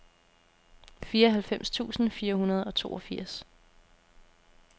fireoghalvfems tusind fire hundrede og toogfirs